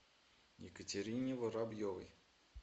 екатерине воробьевой